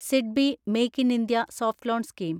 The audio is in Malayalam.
SIDBI make in India soft loan scheme